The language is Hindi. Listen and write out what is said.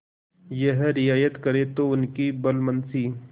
यह रियायत करें तो उनकी भलमनसी